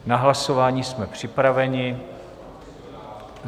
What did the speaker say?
Na hlasování jsme připraveni.